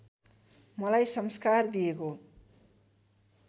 मलाई संस्कार दिएको